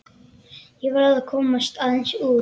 Ég verð að komast aðeins út.